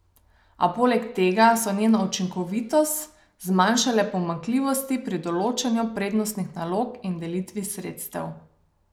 A poleg tega so njeno učinkovitost zmanjšale pomanjkljivosti pri določanju prednostnih nalog in delitvi sredstev.